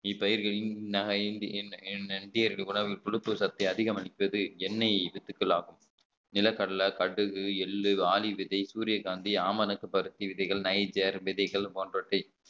இப்பயிர்களின் சத்தை அதிகம் அளிப்பது எண்ணெய் வித்துக்கள் ஆகும் நிலக்கடலை கடுகு எள்ளு ஆளி விதை சூரியகாந்தி ஆமணக்கு பருத்தி விதைகள் நைஜர் விதைகள் போன்றவற்றை